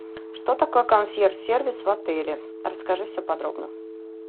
что такое консьерж сервис в отеле расскажи все подробно